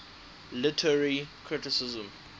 literary criticism